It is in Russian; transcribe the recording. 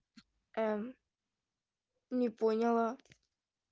не поняла